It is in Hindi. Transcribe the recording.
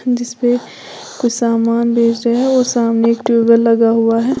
जिस पे कोई सामान बेच रहा है और सामने एक ट्यूबवेल लगा हुआ है।